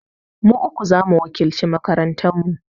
Mu uku za mu wakilci makarantar mu.